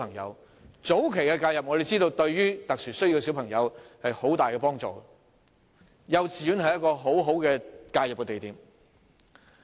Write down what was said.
我們知道早期介入對於有特殊教育需要的小朋友有很大幫助，幼稚園是一個很好的介入點。